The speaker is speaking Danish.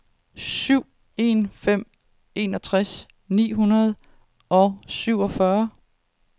syv en en fem enogtres ni hundrede og syvogfyrre